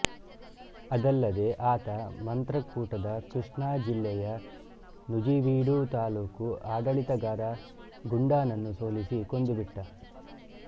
ಅದಲ್ಲದೇ ಆತ ಮಂತ್ರಕೂಟದ ಕೃಷ್ಣಾ ಜಿಲ್ಲೆಯ ನುಜಿವಿಡು ತಾಲುಕು ಆಡಳಿತಗಾರ ಗುಂಡಾನನ್ನು ಸೋಲಿಸಿ ಕೊಂದು ಬಿಟ್ಟ